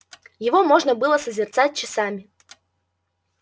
его можно было созерцать часами